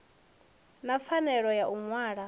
na pfanelo ya u wana